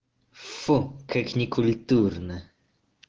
фу как некультурно